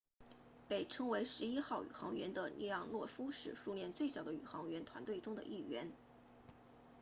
被称为11号宇航员的列昂诺夫是苏联最早的宇航员团队中的一员